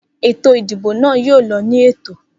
Eto ìdìbò nà yóò lọ ni Ètò